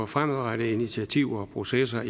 fremadrettede initiativer og processer